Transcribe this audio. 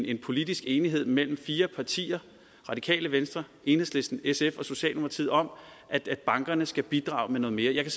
en politisk enighed mellem fire partier radikale venstre enhedslisten sf og socialdemokratiet om at bankerne skal bidrage med noget mere jeg kan